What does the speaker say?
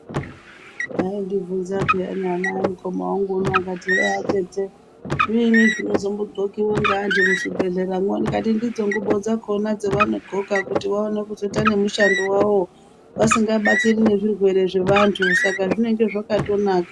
Aindibvunza paini ana emukoma wangu unou kuti he atete zviini zvino zombo dhlkiwa ngeandu muzvibhehlera mwo ndikati ndidzo ngubo dzakona dzavano dhloka kuti vaone kuzoita nemushando wavo vasinga batiri nezvirwere zverwere zvevandu saka zvinenge zvakatonaka